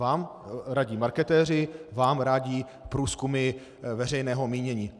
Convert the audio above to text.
Vám radí marketéři, vám radí průzkumy veřejného mínění.